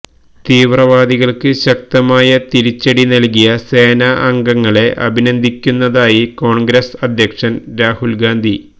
തീവ്രവാദികൾക്ക് ശക്തമായ തിരിച്ചടി നൽകിയ സേനാ അംഗങ്ങളെ അഭിനന്ദിക്കുന്നതായി കോൺഗ്രസ് അദ്യക്ഷൻ രാഹുൽ ഗാന്ധി